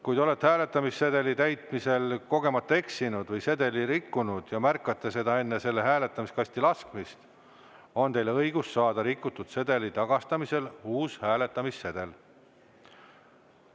Kui te olete hääletamissedeli täitmisel kogemata eksinud või sedeli rikkunud ja märkate seda enne selle hääletamiskasti laskmist, on teil õigus saada rikutud sedeli tagastamisel uus hääletamissedel.